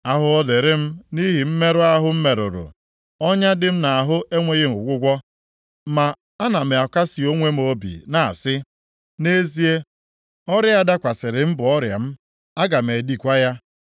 Ahụhụ dịịrị m nʼihi mmerụ ahụ m merụrụ. Ọnya dị m nʼahụ enweghị ọgwụgwọ. Ma ana m akasị onwe m obi na-asị, “Nʼezie, ọrịa a dakwasịrị m bụ ọrịa m, aga m edikwa ya.”